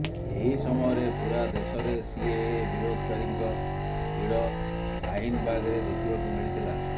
ଏହି ସମୟରେ ପୂରା ଦେଶରେ ସିଏଏ ବିରୋଧକାରୀଙ୍କ ଭିଡ ସାହିନବାଗରେ ଦେଖିବାକୁ ମିଳିଥିଲା